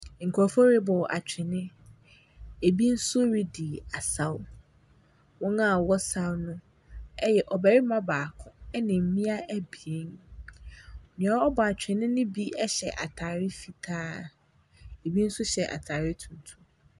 Nkurɔfo reba atwene. Ebi nso redi asaw. Wɔn a wɔsaw no yɛ ɔbarima baako ne mmea ebien. Nea ɔbɔ atwene no bi hyɛ atare fitaa. Ɛbi nso hyɛ atare tuntum.